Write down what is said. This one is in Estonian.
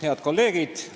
Head kolleegid!